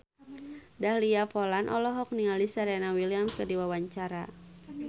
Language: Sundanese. Dahlia Poland olohok ningali Serena Williams keur diwawancara